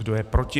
Kdo je proti?